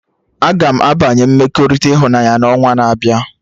Agam abanye mmekọrịta ịhụnanya na onwa na-abịa